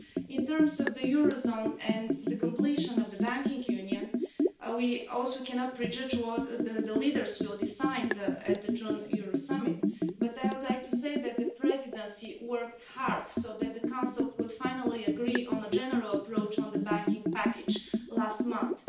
In terms of the eurozone and the completion of the banking union, we also cannot prejudge what the leaders will decide at the June Euro summit, but I would like to say that the Presidency worked hard so that the Council could finally agree on a general approach on the banking package last month.